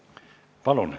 Palun!